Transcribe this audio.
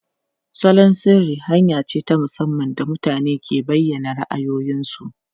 Salon sirri hanya ce ta musamman da mutane ke bayyana ra'ayoyinsu.